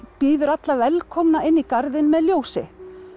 býður alla velkomna inn í garðinn með ljósi